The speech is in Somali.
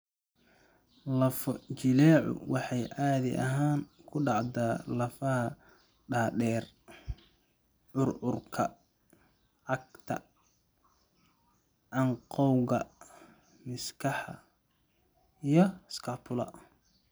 Lafo-jileecu waxay caadi ahaan ku dhacdaa lafaha dhaadheer, curcurka, cagta, canqowga, miskaha, iyo scapula.